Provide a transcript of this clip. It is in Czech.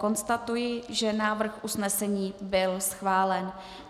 Konstatuji, že návrh usnesení byl schválen.